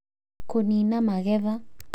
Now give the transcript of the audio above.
Kũniina magetha;